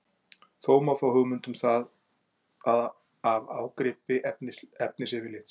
Þó má fá hugmynd um það af ágripi efnisyfirlits.